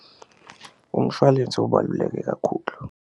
Umshwalense ubalulekile kakhulu.